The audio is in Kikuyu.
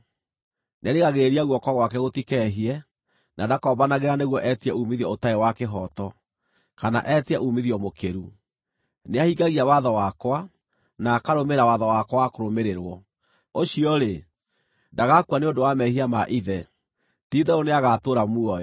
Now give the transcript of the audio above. Nĩarigagĩrĩria guoko gwake gũtikehie, na ndakombanagĩra nĩguo etie uumithio ũtarĩ wa kĩhooto, kana etie uumithio mũkĩru. Nĩahingagia watho wakwa, na akarũmĩrĩra watho wakwa wa kũrũmĩrĩrwo. Ũcio-rĩ, ndagakua nĩ ũndũ wa mehia ma ithe; ti-itherũ nĩagatũũra muoyo.